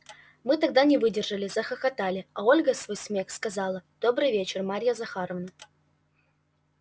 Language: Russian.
мы тогда не выдержали захохотали а ольга сквозь смех сказала добрый вечер марья захаровна